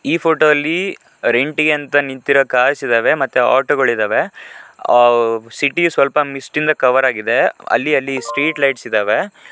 ಈ ಫೋಟೋ ಅಲ್ಲಿ ರೆಂಟ್ ಗೆ ಅಂತ ನಿಂತಿರೋ ಕಾರ್ಸ್ ಇದ್ದಾವೆ ಮತ್ತೆ ಆಟೋ ಗಳಿದವೆ ಆ ಸಿಟಿ ಸ್ವಲ್ಪ ಮಿಸ್ಟ್ ಇಂದ ಕವರ್ ಆಗಿದೆ ಅಲ್ಲಿ ಅಲ್ಲಿ ಸ್ಟ್ರೀಟ್ ಲೈಟ್ಟ್ ಇದಾವೆ.